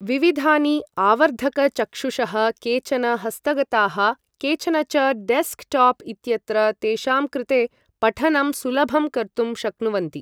विविधानि आवर्धकचक्षुषः, केचन हस्तगताः, केचन च डेस्कटॉप् इत्यत्र, तेषां कृते पठनं सुलभं कर्तुं शक्नुवन्ति ।